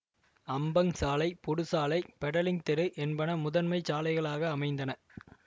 Ampang சாலை Pudu சாலை Petaling தெரு என்பன முதன்மை சாலைகளாக அமைந்தன